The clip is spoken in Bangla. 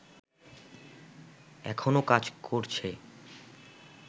এখনও কাজ করছে